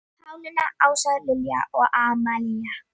Pálína, Ása, Lilja og Amalía.